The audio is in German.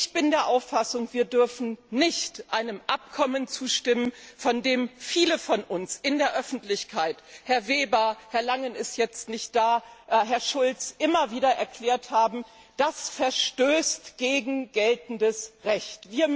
Ich bin der Auffassung, dass wir nicht einem Abkommen zustimmen dürfen, von dem viele von uns in der Öffentlichkeit Herr Weber, Herr Langen ist jetzt nicht da, Herr Schulz immer wieder erklärt haben, es verstoße gegen geltendes Recht.